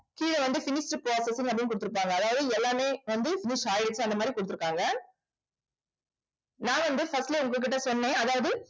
கீழே வந்து finished processing அப்படின்னு கொடுத்திருப்பாங்க அதாவது எல்லாமே வந்து use ஆயிருக்கு அந்த மாதிரி கொடுத்திருக்காங்க. நான் வந்து first ல உங்க கிட்ட சொன்னேன். அதாவது